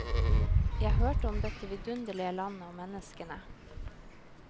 Jeg hørte om dette vidunderlige landet og menneskene.